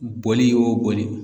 Bɔli o boli.